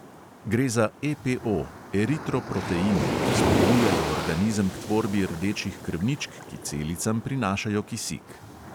Gre za EPO, eritroproteine, ki spodbujajo organizem k tvorbi rdečih krvničk, ki celicam prinašajo kisik.